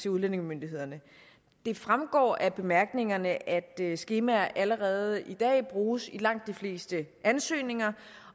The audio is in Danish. udlændingemyndighederne det fremgår af bemærkningerne at skemaer allerede i dag bruges i langt de fleste ansøgninger